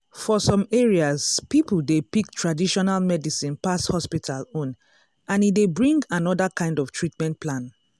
for some areas people dey pick traditional medicine pass hospital own and e dey bring another kind treatment plan.